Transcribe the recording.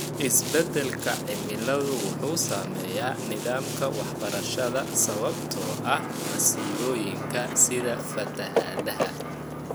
Isbeddelka cimiladu wuxuu saameeyaa nidaamka waxbarashada sababtoo ah masiibooyinka sida fatahaadaha.